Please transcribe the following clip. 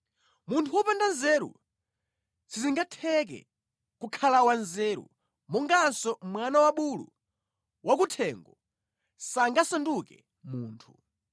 Munthu wopanda nzeru sizingatheke kukhala wanzeru monganso mwana wa bulu wakuthengo sangasanduke munthu.